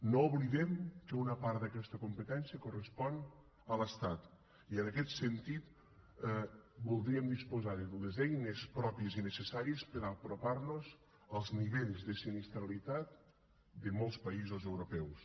no oblidem que una part d’aquesta competència correspon a l’estat i en aquest sentit voldríem disposar de les eines pròpies i necessàries per apropar nos als nivells de sinistralitat de molts països europeus